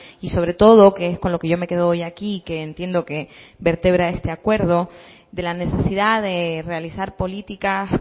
y sobre todo que es con lo que yo me quedo hoy aquí que entiendo que vertebra este acuerdo de la necesidad de realizar políticas